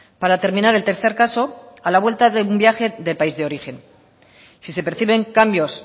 para terminar el tercer caso a la vuelta de un viaje de país de origen si se perciben cambios